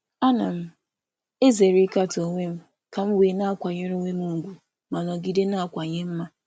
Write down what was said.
M na-ezere ịme nkatọ nke onwe iji nọgide na-enwe nkwanye ùgwù um onwe m ma na-aga n’ihu na-emeziwanye.